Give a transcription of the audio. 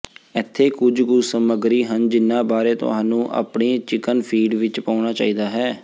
ਇੱਥੇ ਕੁਝ ਕੁ ਸਮੱਗਰੀ ਹਨ ਜਿਹਨਾਂ ਬਾਰੇ ਤੁਹਾਨੂੰ ਆਪਣੀ ਚਿਕਨ ਫੀਡ ਵਿੱਚ ਪਾਉਣਾ ਚਾਹੀਦਾ ਹੈ